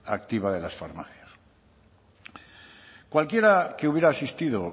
activa de las farmacias cualquiera que hubiera asistido